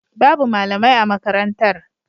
Babu malamai a makarantar.